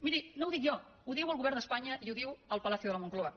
miri no ho dic jo ho diu el govern d’espanya i ho diu el palacio de la moncloa